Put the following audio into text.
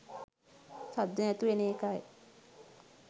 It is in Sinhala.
සද්ද නැතුව එන එකයි.